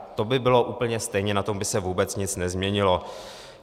To by bylo úplně stejně, na tom by se vůbec nic nezměnilo.